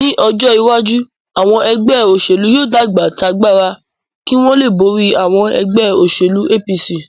Ní ọjọ́ iwájú, àwọn ẹgbẹ́ òṣèlú yóò dàgbà t'agbára kí wọ́n lè borí àwọn ẹgbẹ́ òṣèlú APC